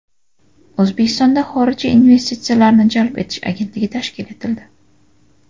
O‘zbekistonda Xorijiy investitsiyalarni jalb etish agentligi tashkil etildi.